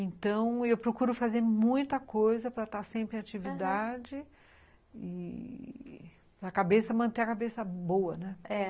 Então, eu procuro fazer muita coisa para estar sempre em atividade, aham, e para cabeça, manter a cabeça boa, né? é.